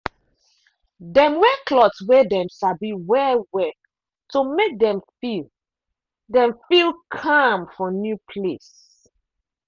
dem wear cloth wey dem sabi well well to make dem feel dem feel calm for new place.